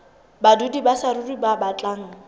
badudi ba saruri ba batlang